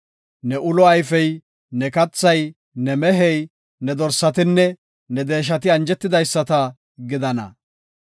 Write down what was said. Ne ulo ayfey, ne kathay, ne mehey, ne dorsatinne ne deeshati anjetidaysata gidana.